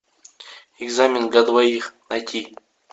экзамен для двоих найти